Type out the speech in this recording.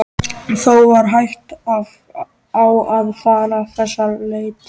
Þó var hætt á að fara þess á leit.